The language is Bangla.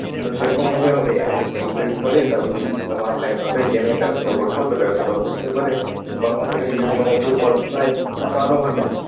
তো সেরকমভাবে একটা complete করে তারপরে যদি তোমার ভাই ভাবে যে আমি ব্যবসা করবো তো ব্যবসাও করতে পারে বা ওখান থেকে যদি কোনো উঁচু পদ পায় তো আরও ভালো।